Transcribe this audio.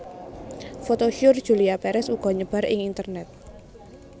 Foto syur Julia Perez uga nyebar ing internet